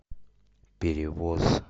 перевоз